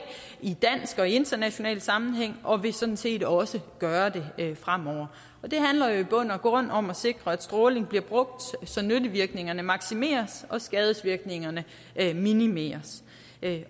i dansk og i international sammenhæng og vil sådan set også gøre det fremover og det handler jo i bund og grund om at sikre at stråling bliver brugt så nyttevirkningerne maksimeres og skadesvirkningerne minimeres